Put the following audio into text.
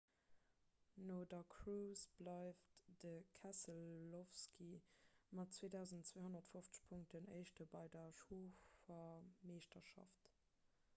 no der course bleift de keselowski mat 2 250 punkten éischte bei der chauffermeeschterschaft